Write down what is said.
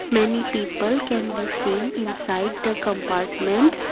many people can be seen inside the compartment.